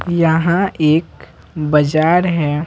यहां एक बाजार है।